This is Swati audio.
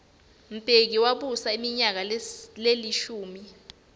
mbeki wabusa iminyaka lelishumi